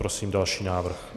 Prosím další návrh.